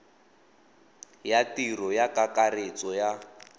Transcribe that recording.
ya tiro ya kakaretso ya